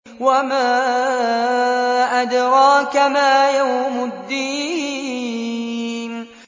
وَمَا أَدْرَاكَ مَا يَوْمُ الدِّينِ